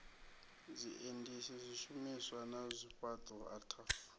zwiendisi zwishumiswa na zwifhaṱo ataf